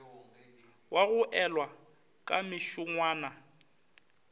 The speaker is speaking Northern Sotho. wa go elwa ka mešongwana